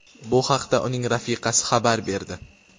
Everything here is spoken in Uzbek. Bu haqda uning rafiqasi xabar berdi.